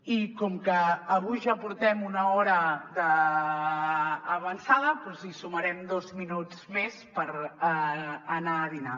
i com que avui ja portem una hora d’avançada doncs hi sumarem dos minuts més per anar a dinar